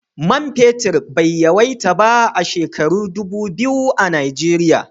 Man fenti bai yawaita ba a shekaru dubu biyu a Nijeriya.